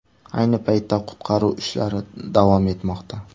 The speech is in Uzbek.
Ayni paytda qutqaruv ishlari davom etmoqda.